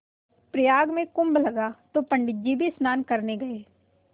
प्रयाग में कुम्भ लगा तो पंडित जी भी स्नान करने गये